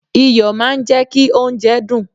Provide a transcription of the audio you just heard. iyọ̀ máa ń jẹ́ kí oúnjẹ dùn